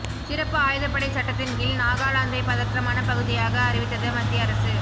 சிறப்பு ஆயுதப்படை சட்டத்தின் கீழ் நாகாலாந்தை பதற்றமான பகுதியாக அறிவித்தது மத்திய அரசு